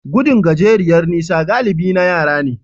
Gudun gajeriyar nisa galibi na yara ne.